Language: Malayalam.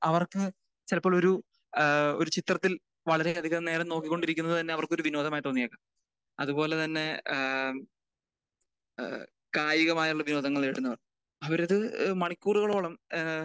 അവർക്ക് ചിലപ്പോൾ ഒരു ഏഹ് ഒരു ചിത്രത്തിൽ വളരെ അധികം നേരം നോക്കി കൊണ്ടിരിക്കുന്നത് തന്നെ അവർക്ക് ഒരു വിനോദമായി തോന്നിയത്. അത് പോലെ തന്നെ ആഹ് ഏഹ് കായികമായുള്ള വിനോദങ്ങൾ നേരിടുന്നവര് അവര് ഒരു മണിക്കൂറുകളോളം ഏഹ്